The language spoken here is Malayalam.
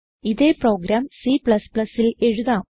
ഇതേ പ്രോഗ്രാം Cൽ എഴുതാം